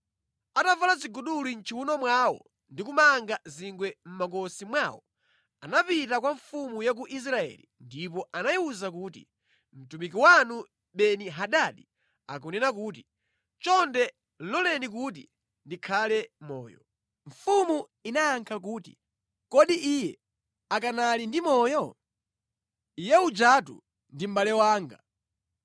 Atavala ziguduli mʼchiwuno mwawo ndi kumanga zingwe mʼmakosi mwawo, anapita kwa mfumu ya ku Israeli ndipo anayiwuza kuti, “Mtumiki wanu Beni-Hadadi akunena kuti, ‘Chonde loleni kuti ndikhale moyo.’ ” Mfumu inayankha kuti, “Kodi iye akanali ndi moyo? Iye ujatu ndi mʼbale wanga.”